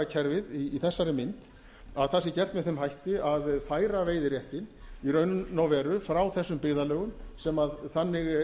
banndagakerfi í þessari mynd að það sé gert með þeim hætti að færa veiðiréttinn í raun og veru frá þessum byggðarlögum sem þannig